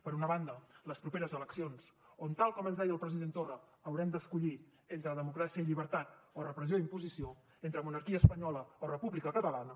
per una banda les properes eleccions on tal com ens deia el president torra haurem d’escollir entre democràcia i llibertat o repressió i imposició entre monarquia espanyola o república catalana